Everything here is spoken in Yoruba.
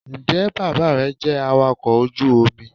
njẹ bàbá re jẹ awakọ ojú omí?